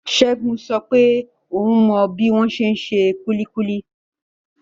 Segun sọ wípé oun mọ bi wọn ṣe n ṣe kulikuli.